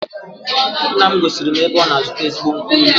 Nna m gosiri m ebe ọ na-azụta ezigbo nkwụ elu